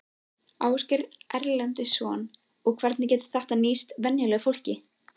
Ásgeir Erlendsson: Og hvernig getur þetta nýst venjulegu fólki?